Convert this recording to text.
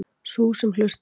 Sú sem hlustar.